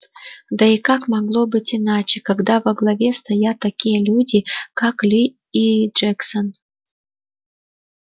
да и как могло быть иначе когда во главе стоят такие люди как ли и джексон